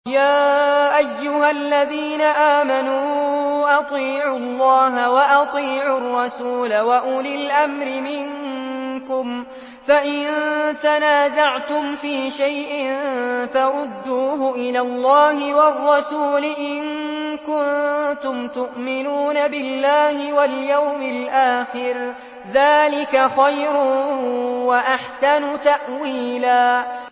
يَا أَيُّهَا الَّذِينَ آمَنُوا أَطِيعُوا اللَّهَ وَأَطِيعُوا الرَّسُولَ وَأُولِي الْأَمْرِ مِنكُمْ ۖ فَإِن تَنَازَعْتُمْ فِي شَيْءٍ فَرُدُّوهُ إِلَى اللَّهِ وَالرَّسُولِ إِن كُنتُمْ تُؤْمِنُونَ بِاللَّهِ وَالْيَوْمِ الْآخِرِ ۚ ذَٰلِكَ خَيْرٌ وَأَحْسَنُ تَأْوِيلًا